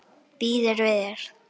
Býður við þér.